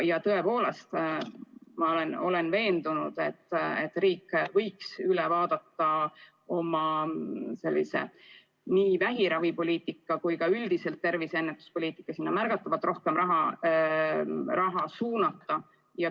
Ja tõepoolest, ma olen veendunud, et riik võiks üle vaadata nii oma vähiravipoliitika kui ka üldiselt tervisepoliitika ning haiguste ennetuseks märgatavalt rohkem raha suunata.